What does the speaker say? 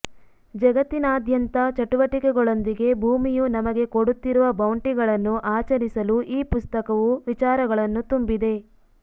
ಜಗತ್ತಿನಾದ್ಯಂತದ ಚಟುವಟಿಕೆಗಳೊಂದಿಗೆ ಭೂಮಿಯು ನಮಗೆ ಕೊಡುತ್ತಿರುವ ಬೌಂಟಿಗಳನ್ನು ಆಚರಿಸಲು ಈ ಪುಸ್ತಕವು ವಿಚಾರಗಳನ್ನು ತುಂಬಿದೆ